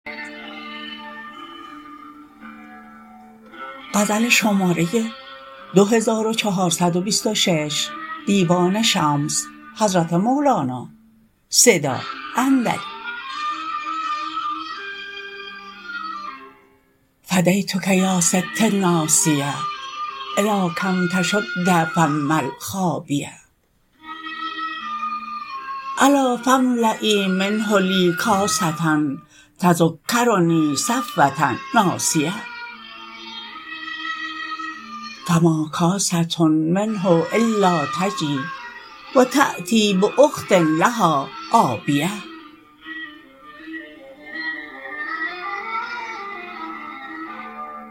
فدیتتک یا ستی الناسیه الی کم تشد فم الخابیه الا فاملیی منه لی کاسه تذکرنی صفوه ناسیه فما کاسه منه الا نجی و تأتی باخت لها آبیه